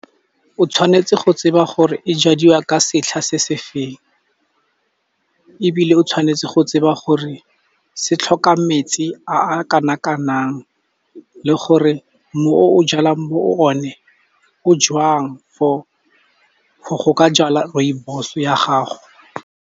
O tshwanetse go tseba gore e jadiwa ka setlha se se feng, ebile o tshwanetse go tseba gore se tlhoka metsi a kana kang, le gore mmu o jalang mo o ne o jwang for go ka jala rooibos ya gago.